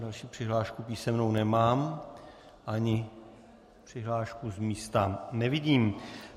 Další přihlášku písemnou nemám ani přihlášku z místa nevidím.